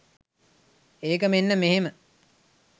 ඒක මෙන්න මෙහෙම.